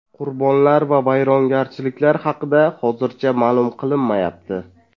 Qurbonlar va vayrongarchiliklar haqida hozircha ma’lum qilinmayapti.